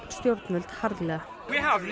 stjórnvöld harðlega